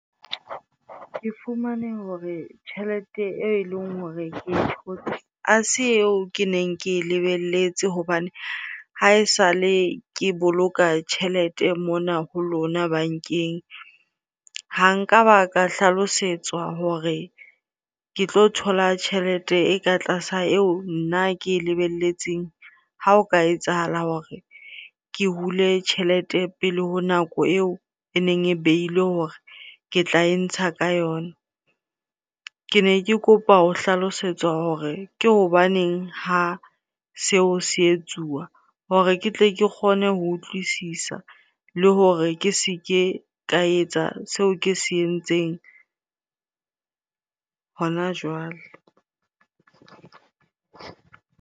Ke fumane hore tjhelete e leng hore ke e thotse ha se eo ke neng ke e lebelletse. Hobane ha esale ke boloka tjhelete mona ho lona bankeng, ha nka ba ka hlalosetswa hore ke tlo thola tjhelete e ka tlasa eo nna ke e lebelletseng ha o ka etsahala hore ke hule tjhelete pele ho nako eo e neng e behilwe hore ke tla e ntsha ka yona. Ke ne ke kopa ho hlalosetswa hore ke hobaneng ha seo se etsuwa hore ke tle ke kgone ho utlwisisa le hore ke se ke ka etsa seo ke se entseng hona jwale.